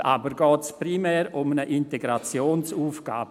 Heute geht es jedoch primär um eine Integrationsaufgabe.